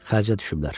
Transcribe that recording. Xərcə düşüblər.